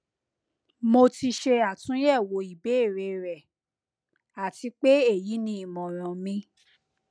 mo ti ṣe atunyẹwo ibeere rẹ ati pe eyi ni imọran mi